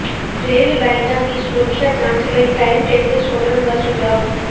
rail ਲਾਈਨਾਂ ਦੀ ਸੁਰੱਖਿਆ ਜਾਂਚ ਲਈ ਟਾਈਮ ਟੇਬਲ ਸੋਧਣ ਦਾ ਸੁਝਾਅ